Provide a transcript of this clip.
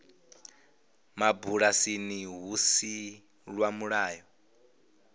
mabulasini lu si lwa mulayo